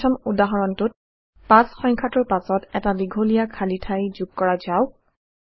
পঞ্চম উদাহৰণটোত ৫ সংখ্যাটোৰ পাছত এটা দীঘলীয়া খালী ঠাই যোগ কৰা যাওক